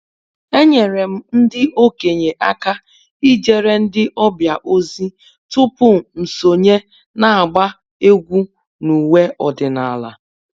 Enyere m ndị okenye aka ijere ndị ọbịa ozi tupu m sonye n’agba egwú n’ụwe ọdịnala